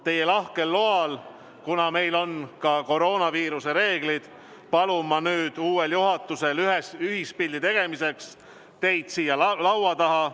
Teie lahkel loal, kuna meil on ka koroonaviiruse reeglid, palun ma uuel juhatusel ühispildi tegemiseks siia laua taha tulla.